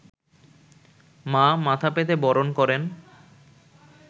মা মাথা পেতে বরণ করেন